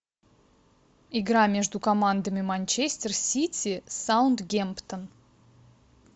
игра между командами манчестер сити саутгемптон